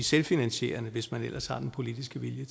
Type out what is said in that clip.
selvfinansierende hvis man altså har den politiske vilje